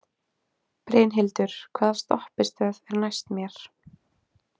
Brynhildur, hvaða stoppistöð er næst mér?